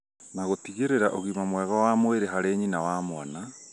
na gũtigĩrĩra ũgima mwega wa mwĩrĩ harĩ nyina na mwana